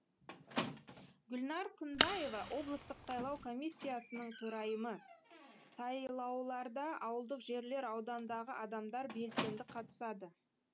гүлнәр күнбаева облыстық сайлау комиссиясының төрайымы сайлауларда ауылдық жерлер аудандағы адамдар белсенді қатысады